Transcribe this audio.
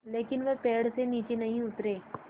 लेकिन वे पेड़ से नीचे नहीं उतरे